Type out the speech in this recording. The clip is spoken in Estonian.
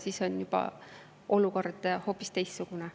Siis on olukord juba hoopis teistsugune.